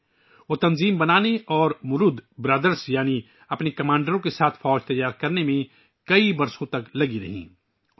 وہ کئی سالوں تک ایک تنظیم بنانے اور مرودو برادرز یعنی اپنے کمانڈروں کے ساتھ فوج بنانے میں مسلسل مصروف رہی